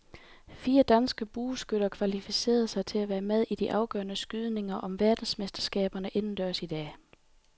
Fire danske bueskytter kvalificerede sig til at være med i de afgørende skydninger om verdensmesterskaberne indendørs i dag.